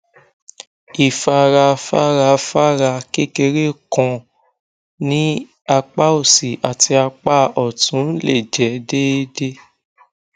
ifarafarafara kekere kan ni apa osi ati apa ọtun le jẹ deede